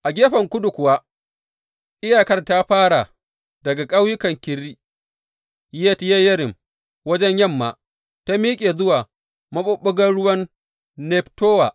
A gefen kudu kuwa, iyakar ta fara daga ƙauyukan Kiriyat Yeyarim wajen yamma sai ta miƙe zuwa maɓuɓɓugar ruwan Neftowa.